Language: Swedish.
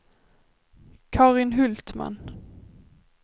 Carin Hultman